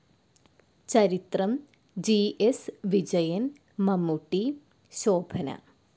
ചരിത്രം ജി.എസ്. വിജയൻ മമ്മൂട്ടി, ശോഭന